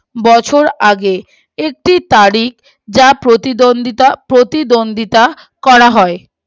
বছরটি আগে একটি তার ই যা প্রতিদ্বন্দ্বীতা প্রতিদ্বন্দ্বিতা করা হয়